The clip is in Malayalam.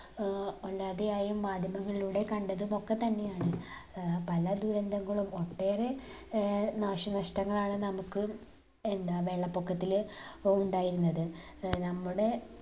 ഏർ അല്ലാതെ ആയും മാധ്യമങ്ങളിലൂടെ കണ്ടതും ഒക്ക തന്നെയാണ് ഏർ പല ദുരന്തങ്ങളും ഒട്ടേറെ ഏർ നാശനഷ്ടങ്ങളാണ് നമുക്ക് എന്താ വെള്ളപ്പൊക്കത്തിൽ അഹ് ഉണ്ടായിരുന്നത് ഏർ നമ്മുടെ